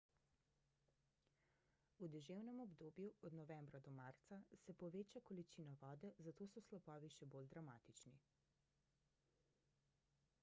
v deževnem obdobju od novembra do marca se poveča količina vode zato so slapovi še bolj dramatični